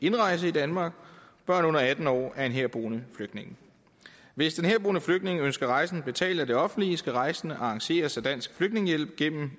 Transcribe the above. indrejse til danmark og børn under atten år af en herboende flygtning hvis den herboende flygtning ønsker rejsen betalt af det offentlige skal rejsen arrangeres af dansk flygtningehjælp gennem